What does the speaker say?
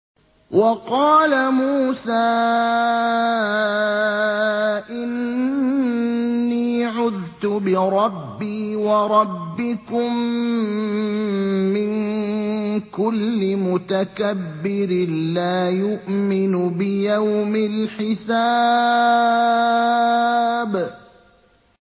وَقَالَ مُوسَىٰ إِنِّي عُذْتُ بِرَبِّي وَرَبِّكُم مِّن كُلِّ مُتَكَبِّرٍ لَّا يُؤْمِنُ بِيَوْمِ الْحِسَابِ